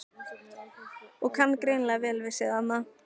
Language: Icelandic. Og kann greinilega vel við sig þarna!